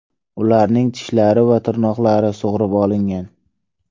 Ularning tishlari va tirnoqlari sug‘urib olingan.